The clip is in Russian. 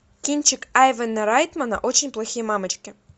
кинчик айвена райтмана очень плохие мамочки